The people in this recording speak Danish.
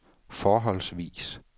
forholdsvis